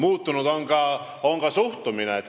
Muutunud on ka suhtumine.